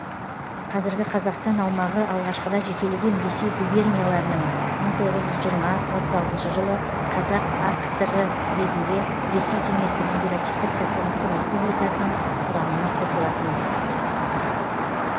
қазіргі қазақстан аумағы алғашқыда жекелеген ресей губернияларының мың тоғыз жүз жиырма отыз алтыншы жылы қазақ акср і ретінде ресей кеңестік федеративтік социалистік республикасының құрамына қосылатын